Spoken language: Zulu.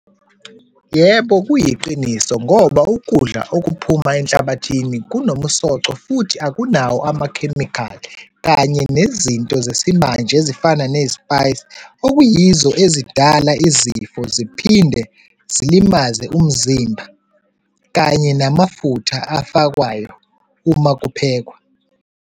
Yebo, kuyiqiniso ngoba ukudla okuphuma enhlabathini kunomsoco, futhi akunawo amakhemikhali kanye nezinto zesimanje ezifana nezi-spice okuyizo ezidala izifo, ziphinde zilimaze umzimba kanye namafutha afakwayo uma kuphekwa.